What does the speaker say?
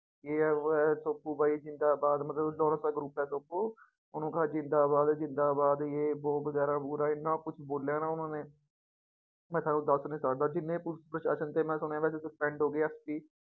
ਜੇ ਹੈ ਵੋਹ ਹੈ ਸੋਪੂ ਭਾਈ ਜ਼ਿੰਦਾਬਾਦ ਮਤਲਬ ਲੋਰੈਂਸ ਦਾ group ਹੈ ਸੋਪੂ ਉਹਨੂੰ ਕਿਹਾ ਜ਼ਿੰਦਾਬਾਦ ਜ਼ਿੰਦਾਬਾਦ ਜੇ ਵੋਹ ਵਗ਼ੈਰਾ ਵਗ਼ੂਰਾ ਇੰਨਾ ਕੁਛ ਬੋਲਿਆ ਨਾ ਉਹਨਾ ਨੇ ਮੈਂ ਤੁਹਾਨੂੰ ਦੱਸ ਨੀ ਸਕਦਾ ਜਿੰਨੇ ਪੁਲਿਸ ਪ੍ਰਸ਼ਾਸ਼ਨ ਤੇ ਮੈਂ ਸੁਣਿਆ ਵੈਸੇ suspend ਹੋ ਗਏ SP